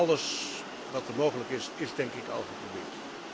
Alles wat mogelijk is, is denk ik al geprobeerd.